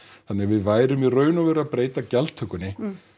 þannig við værum í raun og veru að breyta gjaldtökunni